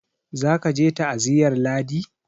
za ka je ta aziyar ladi!